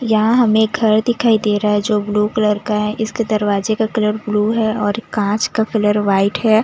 यहां हमें घर दिखाई दे रहा है जो ब्लू कलर का है इसके दरवाजे का कलर ब्लू है और कांच का कलर व्हाइट है।